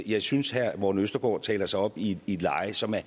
jeg synes herre morten østergaard taler sig op i et leje som er